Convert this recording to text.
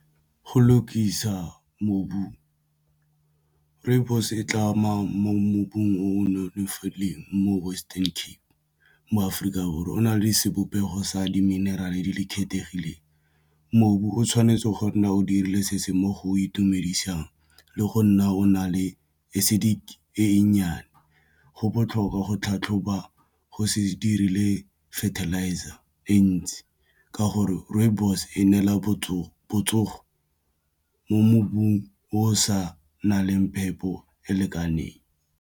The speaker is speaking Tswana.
Go lukisa mobu rooibos-o e tla mo. Mobung o nonofileng mo Western Cape mo Aforika Borwa o na le sebopego sa di mineral-e di le kgethegileng mobu o tshwanetse go nna o dirile setse mo go o itumedisang le go nna o na le acidic e nnyane, go botlhokwa go tlhatlhoba go se dirile e fertilizer e ntsi ke gore rooibos e neela botsogo mo mmung o sa na leng phepo e e lekaneng.